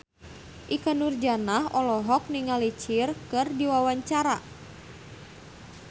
Ikke Nurjanah olohok ningali Cher keur diwawancara